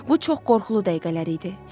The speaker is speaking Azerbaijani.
Bu çox qorxulu dəqiqələr idi.